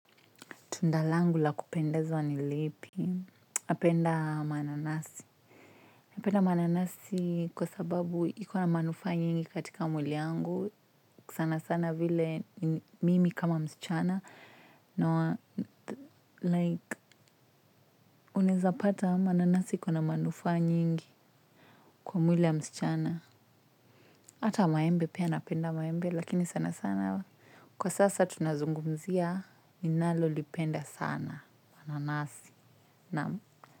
Tunda langu la kupendeza nilipi? Napenda mananasi. Npenda mananasi kwa sababu iko na manufaa nyingi katika mwili wangu. Sana sana vile mimi kama msichana. Na, like, unawezapata mananasi iko na manufaa nyingi kwa mwili ya msichana. Hata maembe, pia napenda maembe, lakini sanasana. Kwa sasa tunazungumzia, ninalolipenda sana mananasi.